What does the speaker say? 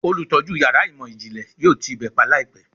Olutọju yara imọ-jinle yoo ti ibe pa laipẹ